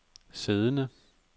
siddende